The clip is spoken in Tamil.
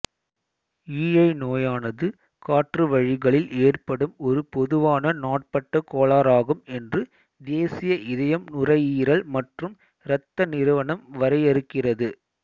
ஈழைநோயானது காற்றுவழிகளில் ஏற்படும் ஒரு பொதுவான நாட்பட்ட கோளாறாகும் என்று தேசிய இதயம் நுரையீரல் மற்றும் இரத்த நிறுவனம் வரையறுக்கிறது